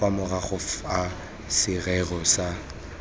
kwa morago fa serori sa